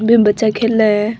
Beam बच्चा खेल है।